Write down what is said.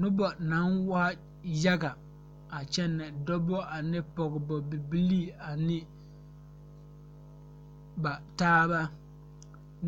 Nobɔ naŋ waa yaga a kyɛnɛ dɔbɔ ane pɔgebɔ bibilii ane ba taaba